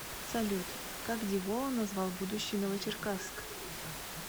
салют как деволан назвал будущий новочеркасск